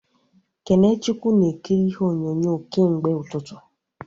Kenechukwu na ekiri ihe onyonyo kemgbe ụtụtụ